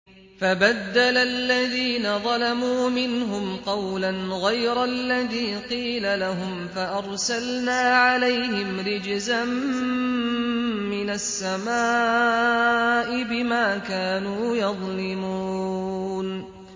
فَبَدَّلَ الَّذِينَ ظَلَمُوا مِنْهُمْ قَوْلًا غَيْرَ الَّذِي قِيلَ لَهُمْ فَأَرْسَلْنَا عَلَيْهِمْ رِجْزًا مِّنَ السَّمَاءِ بِمَا كَانُوا يَظْلِمُونَ